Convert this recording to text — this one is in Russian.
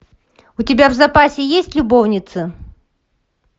у тебя в запасе есть любовницы